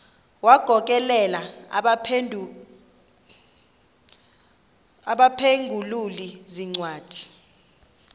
wagokelela abaphengululi zincwadi